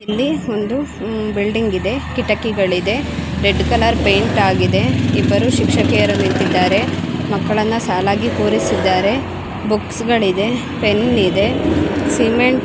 ಇಲ್ಲಿ ಒಂದು ಬಿಲ್ಡಿಂಗ್ ಇದೆ ಕಿಟಕಿಗಳು ಇದೆ ರೆಡ್ ಕಲರ್ ಪೈಂಟ್ ಆಗಿದೆ ಇಬ್ಬರು ಶಿಕ್ಷಕಿಯರು ನಿಂತಿದ್ದಾರೆ ಮಕ್ಕಳನ್ನು ಸಾಲಾಗಿ ಕೂರಿಸಿದ್ದಾರೆ ಬುಕ್ಸ್ ಗಳಿವೆ ಪೆನ್ ಇದೆ ಸಿಮೆಂಟ್ --